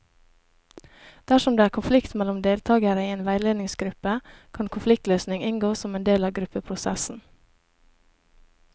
Dersom det er konflikt mellom deltakere i en veiledningsgruppe, kan konfliktløsning inngå som en del av gruppeprosessen.